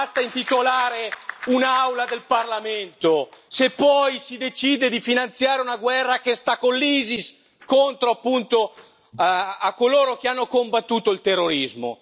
Non basta intitolare un'Aula del Parlamento, se poi si decide di finanziare una guerra che sta con l'Isis, contro appunto coloro che hanno combattuto il terrorismo.